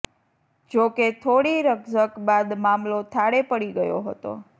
જો કે થોડી રકઝક બાદ મામલો થાળે પડી ગયો હતો